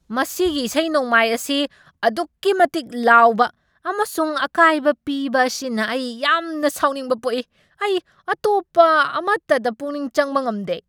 ꯃꯁꯤꯒꯤ ꯏꯁꯩ ꯅꯣꯡꯃꯥꯏ ꯑꯁꯤ ꯑꯗꯨꯛꯀꯤ ꯃꯇꯤꯛ ꯂꯥꯎꯕ ꯑꯃꯁꯨꯡ ꯑꯀꯥꯏꯕ ꯄꯤꯕ ꯑꯁꯤꯅ ꯑꯩ ꯌꯥꯝꯅ ꯁꯥꯎꯅꯤꯡꯕ ꯄꯣꯛꯏ꯫ ꯑꯩ ꯑꯇꯣꯞꯄ ꯑꯃꯇꯗ ꯄꯨꯛꯅꯤꯡ ꯆꯪꯕ ꯉꯝꯗꯦ꯫